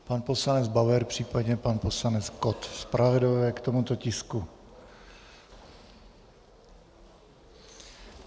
Pan poslanec Bauer, případně pan poslanec Kott, zpravodajové k tomuto tisku.